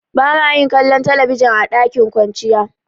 Ba ma yin kallon talabijin a dakin kwanciya.